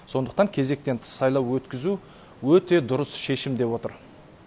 сондықтан кезектен тыс сайлау өткізу өте дұрыс шешім деп отыр